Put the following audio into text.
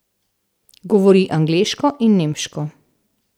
Govori angleško in nemško.